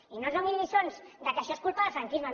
i no ens donin lliçons que això és culpa del franquisme